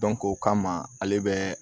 o kama ale bɛ